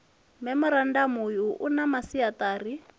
memorandamu uyu u na masiaṱari